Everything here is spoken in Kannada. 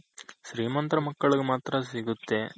ಶ್ರಿಮಂತ್ರ್ ಮಕ್ಕಳಿಗ್ ಮಾತ್ರ ಸಿಗುತ್ತೆ